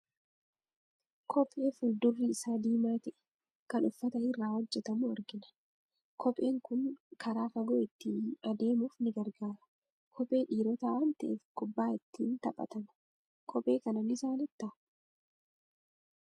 Kophee fuuldurri isaa diimaa ta'e, kan uffata irraa hojjetamu argina. Kopheen kun karaa fagoo ittiin adeemuuf ni gargaara. Kophee dhiirotaa waan ta'eef, kubbaa ittiin ni taphatama. Kophee kana ni jaalattaa?